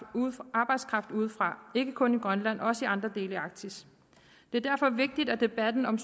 arbejdskraft udefra ikke kun i grønland men også i andre dele af arktis det er derfor vigtigt at debatten om